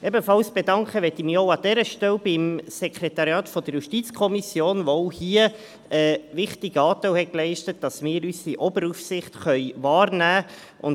Ebenfalls bedanken möchte ich mich an dieser Stelle beim Sekretariat der JuKo, welches auch hier einen wichtigen Teil dazu beigetragen hat, dass wir unsere Oberaufsicht wahrnehmen können.